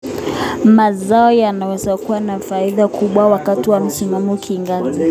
Mazao yanaweza kuwa na faida kubwa wakati wa msimuwa kiangazi